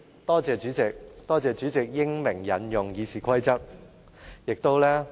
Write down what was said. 多謝代理主席英明引用《議事規則》。